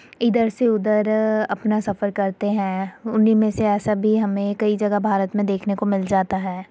इधर से उधर अपना सफ़र करते है। उन्हीं में से ऐसा भी हमें कई जगह भारत में देखने को मिल जाता है।